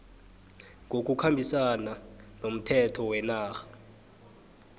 ngokukhambisana nomthetho wenarha